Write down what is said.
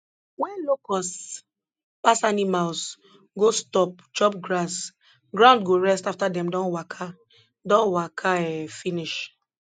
wen locusts pass animals go stop chop grass ground go rest afta dem don waka don waka um finish